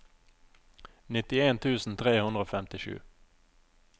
nittien tusen tre hundre og femtisju